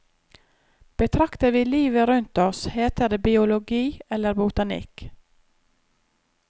Betrakter vi livet rundt oss, heter det biologi eller botanikk.